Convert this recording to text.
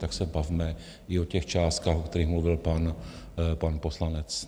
Tak se bavme i o těch částkách, o kterých mluvil pan poslanec.